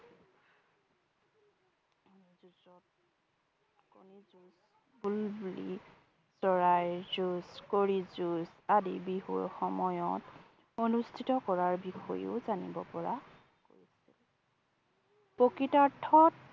বুলবুলি চৰাইৰ যুঁজ, কড়িৰ যুঁজ আদি বিহুৰ সময়তি অনুস্থিত কৰাৰ বিষয়েও জানিব পৰা গৈছিল। প্ৰকৃতাৰ্থত